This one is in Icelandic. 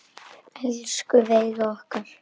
Elsku Veiga okkar.